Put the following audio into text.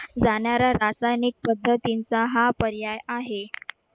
जाणाऱ्या रासायनिक कबड्डींचा हा पर्याय आहे.